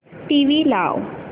TV लाव